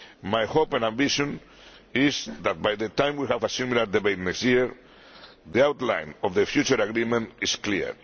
My hope and ambition is that, by the time we have a similar debate next year, the outline of the future agreement will be clear.